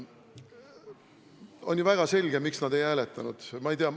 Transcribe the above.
On ju väga selge, miks nad ei hääletanud.